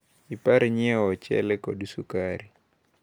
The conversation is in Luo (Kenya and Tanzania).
Ipar nyiewo ochele kod sukari.